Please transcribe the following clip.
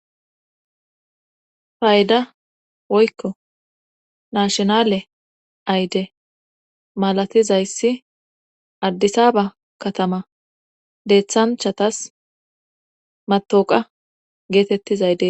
Fayda woykko nashinale ayde malatizayssi addisaba katama deeththanchatas matooqa geetettizayde.